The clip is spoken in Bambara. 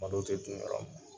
Malo tɛ dun yɔrɔ min